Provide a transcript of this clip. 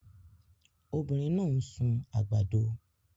Obinrin naa n sun agbado